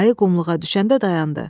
Ayı qumluğa düşəndə dayandı.